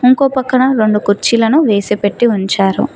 ఇంకో పక్కన రెండు కుర్చీలను వేసి పెట్టి ఉంచారు.